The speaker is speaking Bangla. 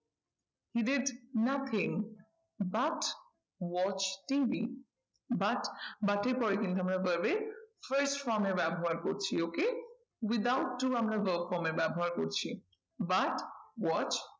He did nothing but watch TV but, but এর পরে কিন্তু আমরা verb এর first form এ ব্যবহার করছি okay without do আমরা verb form এ ব্যবহার করছি but watch